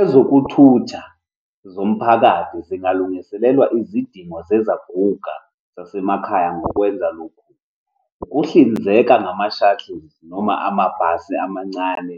Ezokuthutha zomphakathi zingalungiselelwa izidingo zezaguka zasemakhaya ngokwenza lokhu, ukuhlinzeka ngama-shuttle noma amabhasi amancane